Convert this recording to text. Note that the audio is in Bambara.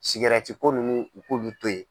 Sigɛrɛti ko ninnu u k'ulu to ye.